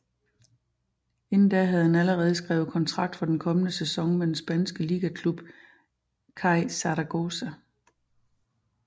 Inden da havde han allerede skrevet kontrakt for den kommende sæson med den spanske ligaklub CAI Zaragoza